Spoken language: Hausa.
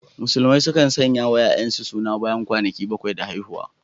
Musulmai sukan sanyawa ‘ya’yansu suna bayan kwana bakwai da haihuwa.